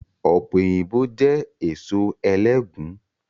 Ọpẹ́yinbo jẹ́ èso ẹlẹgùn